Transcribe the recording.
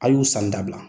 A y'u sanni dabila